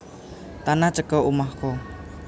Tanah Ceko omahku